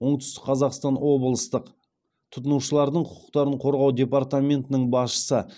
оңтүстік қазақстан облыстық тұтынушылардың құқықтарын қорғау департаментінің басшысы